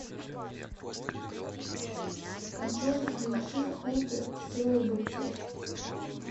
джой включи худселебрити